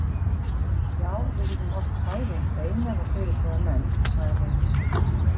Já, við getum ort kvæði um Einar og fleiri góða menn, sagði